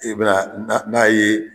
E bɛna na n'a ye